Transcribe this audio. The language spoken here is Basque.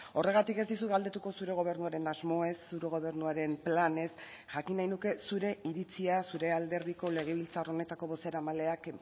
horregatik ez dizut galdetuko zure gobernuaren asmoez zure gobernuaren planez jakin nahi nuke zure iritzia zure alderdiko legebiltzar honetako bozeramaileak